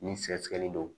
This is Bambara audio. Ni sɛgɛsɛgɛli don